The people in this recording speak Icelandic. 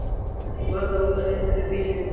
Var það út af einhverri bilun?